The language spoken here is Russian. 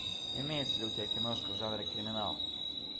имеется ли у тебя киношка в жанре криминал